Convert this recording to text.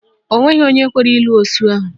Onweghi onwe kwere ịlụ osu ahụ